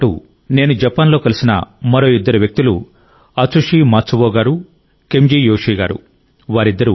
వీరితో పాటు నేను జపాన్లో కలిసిన మరో ఇద్దరు వ్యక్తులు అత్సుషి మాత్సువో గారు కెంజీ యోషీ గారు